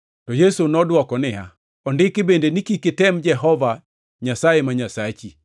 Yesu nodwoko niya, “Ondiki bende ni, ‘Kik item Jehova Nyasaye ma Nyasachi.’ + 4:12 \+xt Rap 6:16\+xt* ”